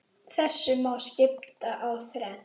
Þessu má skipta í þrennt.